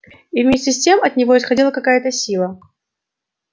и вместе с тем от него исходила какая-то сила